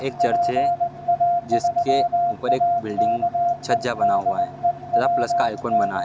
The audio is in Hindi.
एक चर्च है जिसके ऊपर एक बिल्डिंग छज्जा बना हुआ हैं तथा प्लश का आइकन बना हुआ है।